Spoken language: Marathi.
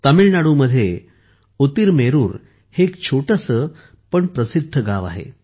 तामिळनाडूमध्ये उतीरमेरूर हे एक छोटेसे पण प्रसिद्ध गाव आहे